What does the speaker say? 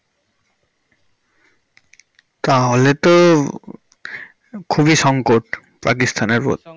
তাহলে তো খুবই সংকট পাকিস্তান এর ওপর।